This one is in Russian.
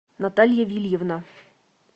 наталья вильевна